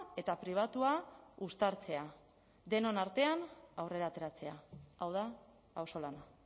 eta pribatua uztartzea denon artean aurrera ateratzea hau da auzolana